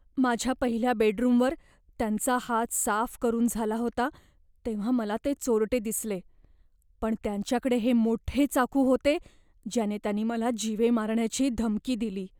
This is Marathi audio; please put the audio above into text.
माझ्या पहिल्या बेडरूमवर त्यांचा हात साफ करून झाला होता तेव्हा मला ते चोरटे दिसले, पण त्यांच्याकडे हे मोठे चाकू होते ज्याने त्यांनी मला जीवे मारण्याची धमकी दिली.